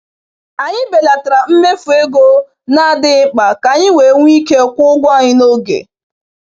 Anyị belatara mmefu ego na-adịghị mkpa ka anyị wee nwee ike kwụọ ụgwọ anyị n’oge.